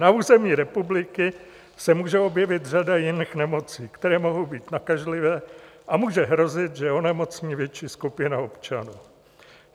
Na území republiky se může objevit řada jiných nemocí, které mohou být nakažlivé, a může hrozit, že onemocní větší skupina občanů.